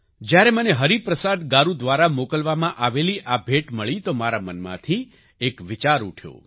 જ્યારે મને હરિપ્રસાદ ગારૂ દ્વારા મોકલવામાં આવેલી આ ભેટ મળી તો મારા મનમાંથી એક વિચાર ઉઠ્યો